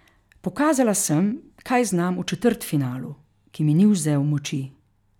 Pokazala sem, kaj znam v četrtfinalu, ki mi ni vzel moči.